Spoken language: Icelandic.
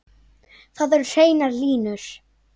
Það eru hreinar línur.